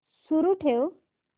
सुरू ठेव